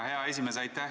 Aitäh, hea esimees!